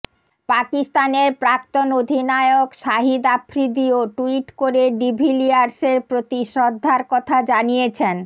পাকিস্তানের প্রাক্তন অধিনায়ক শাহিদ আফ্রিদিও ট্যুইট করে ডিভিলিয়ার্সের প্রতি শ্রদ্ধার কথা জানিয়েছেন